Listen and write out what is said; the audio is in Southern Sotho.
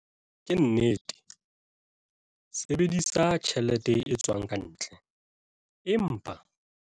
Ke nnete, sebedisa tjhelete e tswang ka ntle, empa...